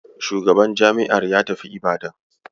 Shugaban jami'ar ya tafi Ibadan.